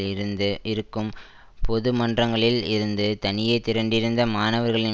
இருந்து இருக்கும் பொது மன்றங்களில் இருந்து தனியே திரண்டிருந்த மாணவர்களின்